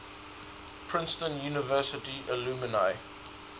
princeton university alumni